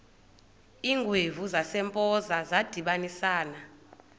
iingwevu zasempoza zadibanisana